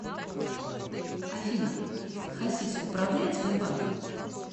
афина хасис управляет сбербанком